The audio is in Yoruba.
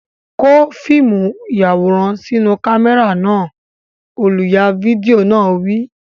Kó fíìmù ìyàwòrán sínú kámẹ́rà náà! Olùya fídíò náà wí.